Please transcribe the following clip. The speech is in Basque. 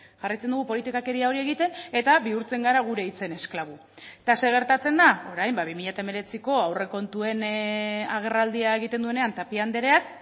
jarraitzen dugu politikakeria hori egiten eta bihurtzen gara gure hitzen esklabu eta zer gertatzen da orain ba bi mila hemeretziko aurrekontuen agerraldia egiten duenean tapia andreak